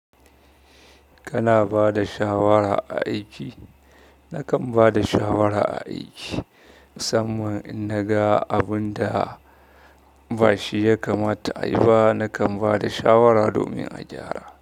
Kana ba da shawara a aiki? Nakan ba da shawara a aiki, musamman in naga abun da bashi ya kamata ayi ba, nakan ba da shawara domin a gyara.